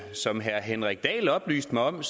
som herre henrik dahl oplyste mig om